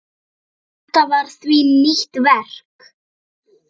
Þetta var því nýtt hverfi.